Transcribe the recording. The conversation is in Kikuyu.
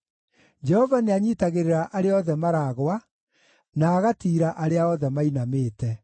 Jehova nĩanyiitagĩrĩra arĩa othe maragũa, na agatiira arĩa othe mainamĩte.